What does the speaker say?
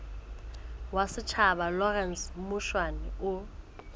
wa setjhaba lawrence mushwana o